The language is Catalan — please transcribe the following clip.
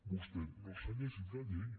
vostè no s’ha llegit la llei